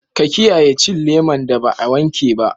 Ka kiyaye cin leman da ba a wanke ba.